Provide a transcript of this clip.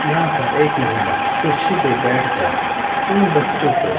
यहां पर एक महिला कुर्सी पे बैठ कर इन बच्चों को--